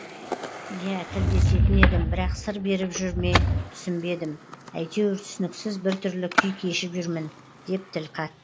иә тілдесетін едім бірақ сыр беріп жүр ме түсінбедім әйтеуір түсініксіз біртүрлі күй кешіп жүрмін деп тіл қатты